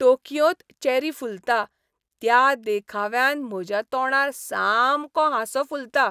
टोकियोंत cherry फुलता त्या देखाव्यान म्हज्या तोंडार सामको हांसो फुलता .